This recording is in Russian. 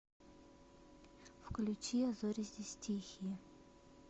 включи а зори здесь тихие